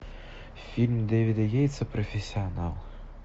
фильм дэвида йейтса профессионал